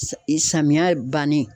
Samiya bannen